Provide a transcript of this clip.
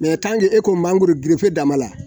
e ko man mangoro gerefe dama la